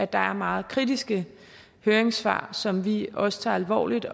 der er meget kritiske høringssvar som vi også tager alvorligt